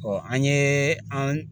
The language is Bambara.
an ye an